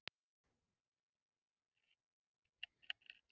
Skrýtið, og samt voru mörg ár liðin síðan stríðinu lauk.